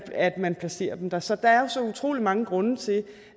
at man placerer dem dér så der er jo så utrolig mange grunde til